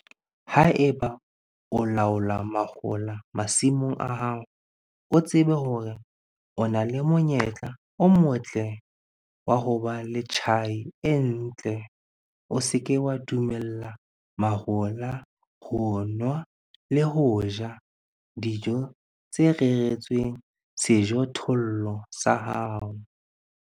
Ha eba o laola mahola masimong a hao, tseba hore o na le monyetla o motle wa ho ba le tjhai e ntle o se ke wa dumella mahola ho nwa le ho ja dijo tse reretsweng sejothollo sa hao.